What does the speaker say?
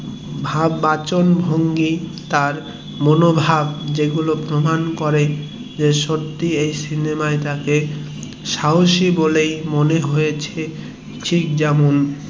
এবং তার বাচনভঙ্গি এবং মনোভাব গুলো প্রমান করে যে সত্যি এই সিনেমায় তাকে সাহসী বলে মনে হয়েছে ঠিক যেমন